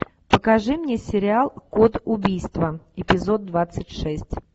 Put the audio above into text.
покажи мне сериал код убийства эпизод двадцать шесть